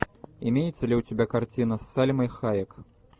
имеется ли у тебя картина с сальмой хайек